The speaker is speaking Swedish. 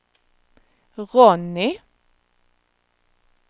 Ronny